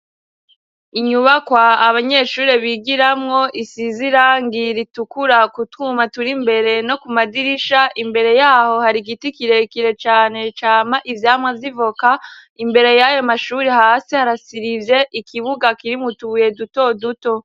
Inyubakwa abanyeshure bigiramwo isiz'irangi ritukura kutwuma tur'imbere no kumadirisha imbere yaho hari giti kirekire cane cama ivyamwa vy'ivoka ,imbere y'ayo mashuri hasi harasirije ikibuga kirimw' utubuye duto duto.